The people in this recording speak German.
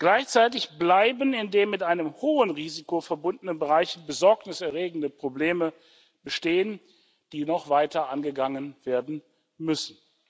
Gleichzeitig bleiben in den mit einem hohen Risiko verbundenen Bereichen besorgniserregende Probleme bestehen, die noch weiter angegangen werden müssen.